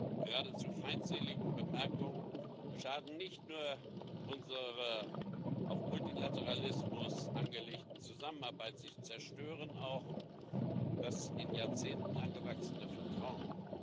Und seine geradezu feindseligen Bemerkungen schaden nicht nur unserer auf Multilateralismus angelegten Zusammenarbeit, sie zerstören auch das in Jahrzehnten angewachsene Vertrauen.